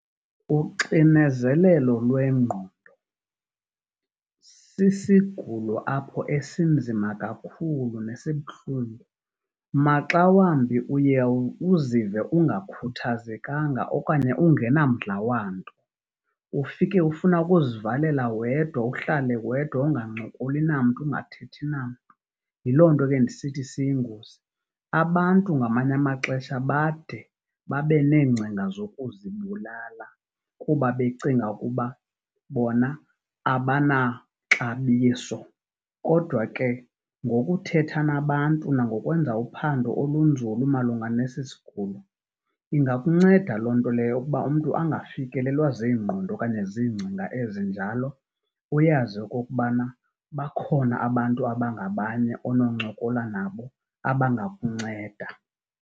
Uxinezelelo lwengqondo sisigulo apho esinzima kakhulu nesibuhlungu. Maxa wambi uye uzive ungakhuthazekanga okanye ungenamdla wamntu. Ufike ufuna ukuzivalela wedwa uhlale wedwa ungancokoli namntu, ungathethi namntu. Yiloo nto ke ndisithi siyingozi. Abantu ngamanye amaxesha bade babe neengcinga zokuzibulala kuba becinga ukuba bona abanaxabiso. Kodwa ke ngokuthetha nabantu nangokwenza uphando olunzulu malunga nesi sigulo ingakunceda loo nto leyo ukuba umntu angafikelelwa ziingqondo okanye ziingcinga ezinjalo, uyazi okokubana bakhona abantu abangabanye ononcokola nabo abangakunceda.